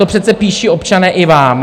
To přece píší občané i vám.